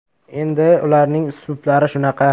Endi ularning uslublari shunaqa.